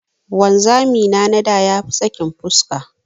Wanzami na na da ya fi sakin fuska.